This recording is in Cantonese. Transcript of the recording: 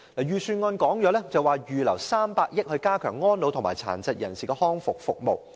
預算案指會預留300億元，以加強安老和殘疾人士的復康服務。